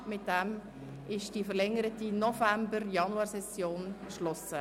Damit ist die verlängerte November-/Januarsession geschlossen.